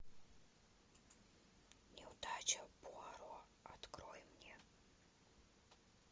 неудача пуаро открой мне